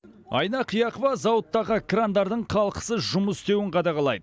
айна қияқова зауыттағы крандардың қалтқысыз жұмыс істеуін қадағалайд